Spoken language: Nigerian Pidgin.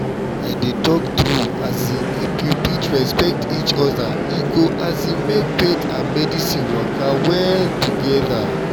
i dey talk true um if we fit respect each other e go um make faith and medicine waka well together.